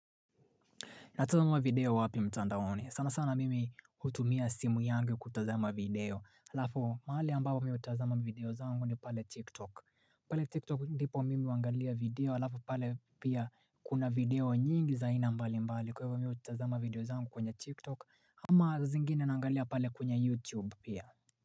Natazama video wapi mtandaoni, sana sana mimi hutumia simu yangu kutazama video, alafu mahali ambapo mihutazama video zangu ni pale tiktok. Pale tiktok ndipo mimi huangalia video, alafu pale pia kuna video nyingi za aina mbali mbali, kwa hivyo mi hutazama video zangu kwenye tiktok, ama zingine naangalia pale kwenye youtube pia.